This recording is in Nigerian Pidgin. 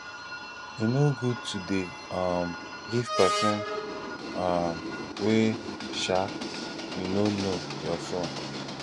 e no good to dey um give person um wey um you no know your phone